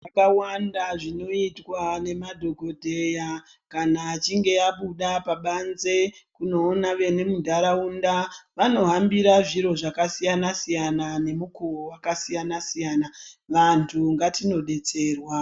Zvakawanda zvinoitwa nemadhokodheya kana achinge abuda pabanze kunoona vemuntaraunda vanohambira zviro zvakasiyana -siyana nemukuwo wakasiyana -siyana. Vantu ngatinodetserwa.